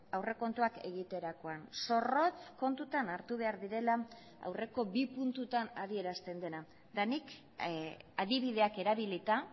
aurrekontuak egiterakoan zorrotz kontutan hartu behar direla aurreko bi puntutan adierazten dena eta nik adibideak erabilita